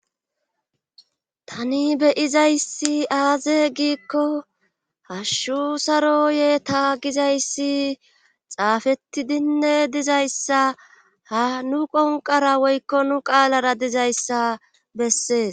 tani beyizayssi aaze giikko hashshu saroye ta gizayssi xaafetidinne dizayssa ha nu qonqara woykko nu qaalara dizayssa bessees